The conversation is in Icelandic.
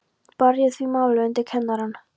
Bar ég því málið undir kennarann.